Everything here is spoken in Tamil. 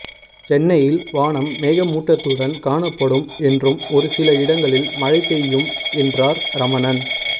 சென்னையில் வானம் மேகமூட்டத்துடன் காணப்படும் என்றும் ஒரு சில இடங்களில் மழை பெய்யும் என்றார் ரமணன்